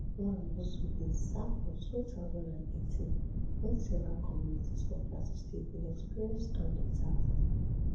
nwagboso bin serve for two thousand and eighteen wen several communities for plateau state bin experience armed attacks